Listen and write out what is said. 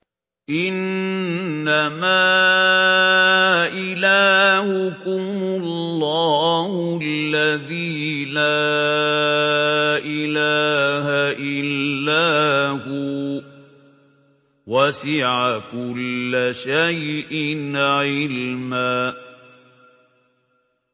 إِنَّمَا إِلَٰهُكُمُ اللَّهُ الَّذِي لَا إِلَٰهَ إِلَّا هُوَ ۚ وَسِعَ كُلَّ شَيْءٍ عِلْمًا